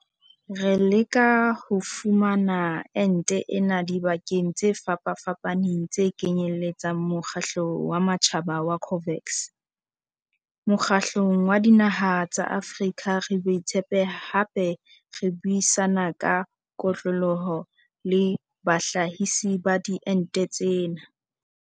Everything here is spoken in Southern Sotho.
Re leka ho fumana ente ena dibakeng tse fapafapaneng tse kenyeletsang mokgatlo wa matjhaba wa COVAX, Mokgatlong wa Dinaha tsa Afrika re boetse hape re buisana ka kotloloho le bahlahisi ba diente tsena.